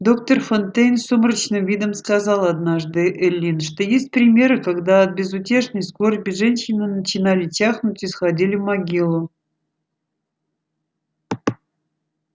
доктор фонтейн с сумрачным видом сказал однажды эллин что есть примеры когда от безутешной скорби женщины начинали чахнуть и сходили в могилу